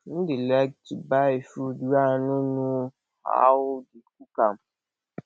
i no dey like to buy food wey i no know how they cook am